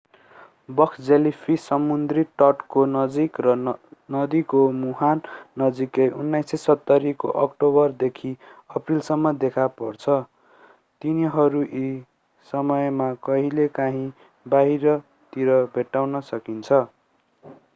box jellyfish समुद्री तटको नजिक र नदीको मुहान नजिक 1970 को अक्टोबरदेखि अप्रिलसम्म देखा पर्छ तिनीहरू यी समयमा कहिलेकाहिँ बाहिरतिर भेट्टाउन सकिन्छ